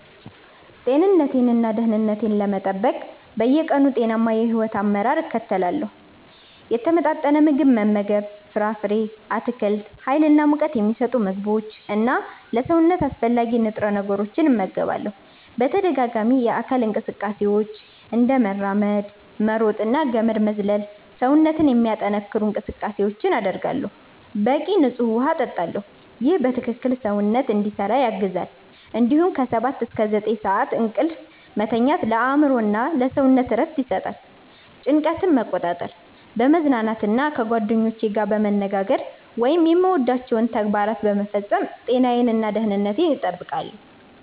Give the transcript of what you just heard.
ጤንነቴን እና ደህንነቴን ለመጠበቅ በየቀኑ ጤናማ የሕይወት አመራር እከተላለሁ። የተመጣጠነ ምግብ መመገብ ፍራፍሬ፣ አትክልት፣ ሀይል እና ሙቀት ሚሰጡ ምግቦች እና ለሰውነት አስፈላጊ ንጥረ ነገሮችን እመገባለሁ። በተደጋጋሚ የአካል እንቅስቃሴዎች፤ እንደ መራመድ፣ መሮጥ እና ገመድ መዝለል ሰውነትን የሚያጠነክሩ እንቅስቃሴዎችን አደርጋለሁ። በቂ ንፁህ ውሃ እጠጣለሁ ይህ በትክክል ሰውነትን እንዲሰራ ያግዛል እንዲሁም ከ 7–9 ሰዓት እንቅልፍ መተኛት ለአእምሮ እና ለሰውነት እረፍት ይሰጣል። ጭንቀትን መቆጣጠር፣ በመዝናናት እና ከጓደኞቼ ጋር በመነጋገር ወይም የምወዳቸውን ተግባራት በመፈጸም ጤናዬን እና ደህንነቴን እጠብቃለሁ።